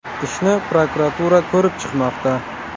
Ishni prokuratura ko‘rib chiqmoqda.